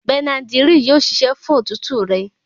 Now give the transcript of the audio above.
Bẹnadírílì yóò ṣiṣẹ́ fún òtútù rẹ.